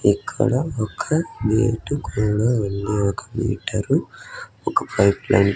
ఇక్కడ ఒక గేటు కూడా ఉంది ఒక మీటరు ఒక పైప్ లైన్ --